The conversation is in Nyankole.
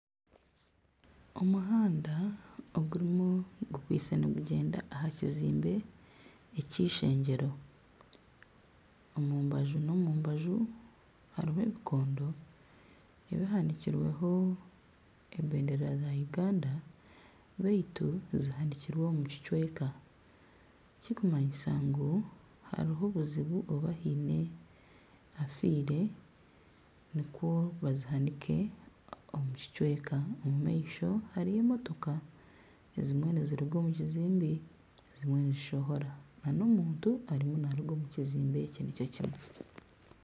Omuhanda ogurimu gukwaitse nigugyenda aha kizimbe ekishengyero omu mbaju nomu mbaju harimu ebikondo ebihanikirweho ebendera za Uganda baitu zihanikirweho omukicweka ekirikumanyisa ngu hariho obuzibu oba hiine ofiire nikwo bazihanike omu kicweka omu maisho hariyo emotoka ezimwe niziruga omu kizimbe ezimwe nizishohora na omuntu ariyo naruga omu kizimbe eki nikyo kimwe.